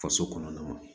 Faso kɔnɔna